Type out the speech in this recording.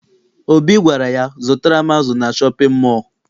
Obi gwara ya, zụtara m azụ na shọpịn mọọ!